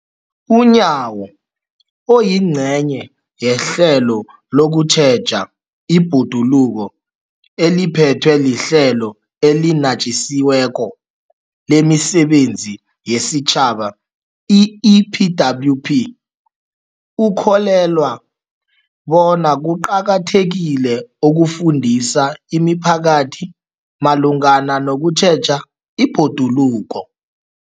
UNyawo, oyingcenye yehlelo lokutjheja ibhoduluko eliphethwe liHlelo eliNatjisi weko lemiSebenzi yesiTjhaba, i-EPWP, ukholelwa bona kuqakathekile ukufundisa imiphakathi malungana nokutjheja ibhoduluko.